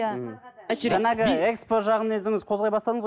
иә экспо жағын өзіңіз қозғай бастадыңыз ғой